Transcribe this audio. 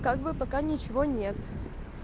как бы пока ничего нет